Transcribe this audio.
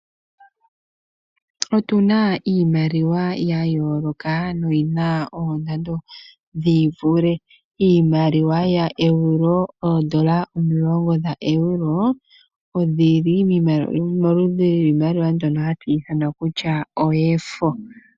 Otu na iimaliwa ya yooloka noyi na oondando dhi ivule. Iimaliwa yoEuro, ooEuro omulongo dhaEuropa odhi li moludhi lwiimaliwa mbyono hatu ithana kutya oyefo.